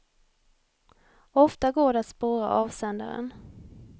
Ofta går det att spåra avsändaren.